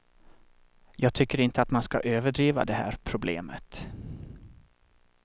Jag tycker inte att man ska överdriva det här problemet.